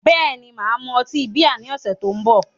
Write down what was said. Bẹ́ẹ̀ni, mà á mu ọtí bíà ní ọ̀sẹ̀ tó ń bọ̀